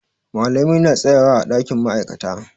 Malamai na tsayawa ã dakin ma'aikata.